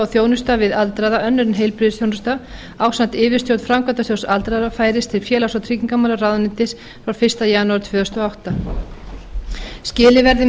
þjónusta við aldraða önnur en heilbrigðisþjónusta ásamt yfirstjórn framkvæmdasjóðs aldraðra færist til félags og tryggingamálaráðuneytis frá fyrsta janúar tvö þúsund og átta skilið verði